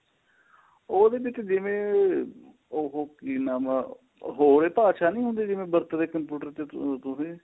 ਉਹਦੇ ਵਿੱਚ ਜਿਵੇਂ ਉਹ ਕਿ ਨਾਮ ਏ